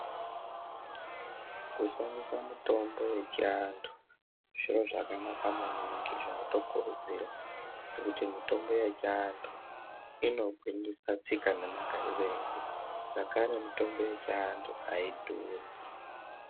Kushandisa mitombo yechi antu zviro zvakanaka maningi zvinoto kurudzirwa ngekuti mitombo yechi antu ino gwinyisa tsika ne magariro edu zvakare mitombo yechi antu ayidhuri.